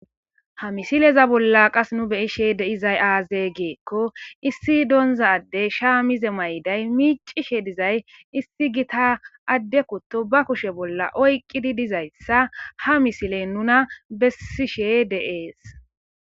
Ha misileza bolla qasi nu beyishe de'izays aaze giiko issi donza adey shaamiza mayiday micishe dizay issi gita ade kuto ba kushe bolla oyqidi dizaysa ha misiley nuna besishe de'es